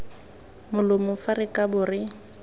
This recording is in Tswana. molomo fa re kabo re